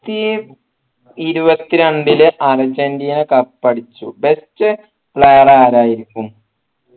ത്തി ഇരുവന്ത്രണ്ടില് Argentina cup അടിച്ചു best player ആരായിരിക്കും